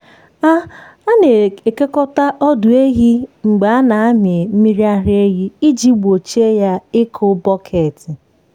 a a na-ekekọta ọdụ ehi mgbe a na-amị mmiri ara ehi iji gbochie ya ịkụ bọket.